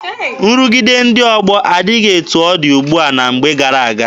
Nrụgide ndị ọgbọ adịghị etu ọ dị ugbua na mgbe gara aga.